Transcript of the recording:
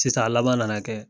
Sisan a laban nana kɛ